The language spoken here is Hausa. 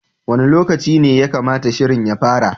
Wani lokaci ne ya kamata shirin ya fara?